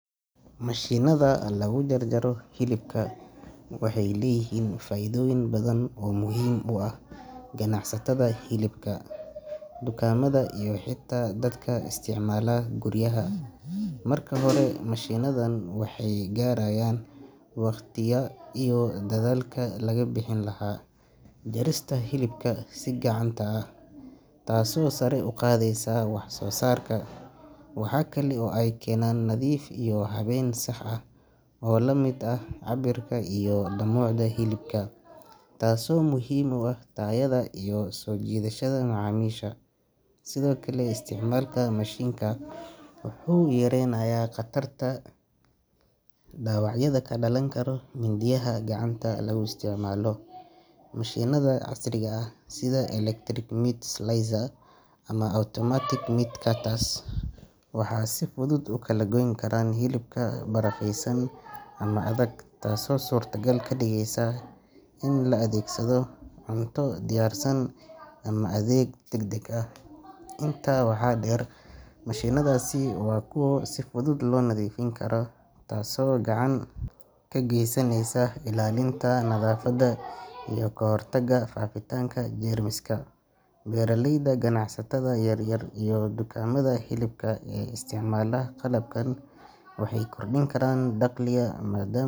Mashiinnada lagu jaro hilibka waxay leeyihiin faa’iidooyin badan oo muhiim u ah ganacsatada hilibka, dukaamada iyo xitaa dadka isticmaala guryaha. Marka hore, mashiinadan waxay yareeyaan waqtiga iyo dadaalka laga bixin lahaa jarista hilibka si gacanta ah, taasoo sare u qaadaysa wax soo saarka. Waxa kale oo ay keenaan nadiif iyo habeyn sax ah oo la mid ah cabbirka iyo dhumucda hilibka, taasoo muhiim u ah tayada iyo soo jiidashada macaamiisha. Sidoo kale, isticmaalka mashiinka wuxuu yareynayaa khatarta dhaawacyada ka dhalan kara mindiyaha gacanta lagu isticmaalo. Mashiinada casriga ah sida electric meat slicers ama automatic meat cutters waxay si fudud u kala goyn karaan hilibka barafaysan ama adag, taasoo suurtogal ka dhigaysa in la adeegsado cunto diyaarsan ama adeeg degdeg ah. Intaa waxaa dheer, mashiinadaasi waa kuwo si fudud loo nadiifin karo, taasoo gacan ka geysanaysa ilaalinta nadaafadda iyo kahortagga faafitaanka jeermiska. Beeraleyda, ganacsatada yaryar iyo dukaamada hilibka ee isticmaala qalabkan waxay kordhin karaan dakhliga maad.